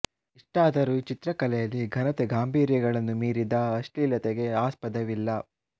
ಇಷ್ಟಾದರೂ ಈ ಚಿತ್ರಕಲೆಯಲ್ಲಿ ಘನತೆ ಗಾಂಭೀರ್ಯಗಳನ್ನು ಮೀರಿದ ಅಶ್ಲೀಲತೆಗೆ ಆಸ್ಪದವಿಲ್ಲ